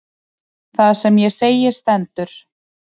Það sem ég segi stendur.